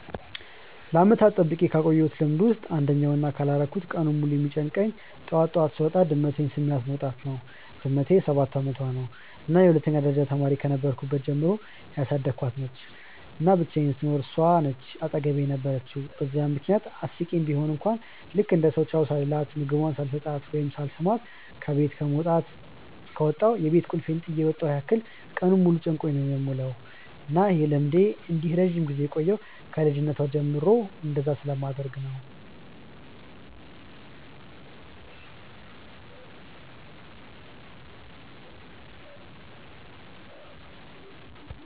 ለዓመታት ጠብቄ ካቆየውት ልምድ ውስጥ አንደኛው እና ካላረኩት ቀኑን ሙሉ የሚጨንቀኝ ጠዋት ጠዋት ስወጣ ድመቴን ስሚያት መውጣት ነው። ድመቴ ሰባት አመቷ ነው እና የሁለተኛ ደረጃ ተማሪ ከነበርኩ ጀምሮ ያሳደኳት ነች፤ እና ብቻየንም ስኖር እሷ ነች አጠገቤ የነበረችው በዛም ምክንያት አስቂኝ ቡሆም ልክ እንደ ሰው ቻው ሳልላት፣ ምግቧን ሳልሰጣት ወይም ሳልስማት ከበት ከወጣው የቤት ቁልፌን ጥየ የመጣው ያህል ቀኑን ሙሉ ጨንቆኝ ነው የምውለው። እና ይህ ልምዴ እንዲህ ረጅም ጊዜ የቆየው ከ ልጅነቷ ጀምሮ እንደዛ ስለማደርግ ነው።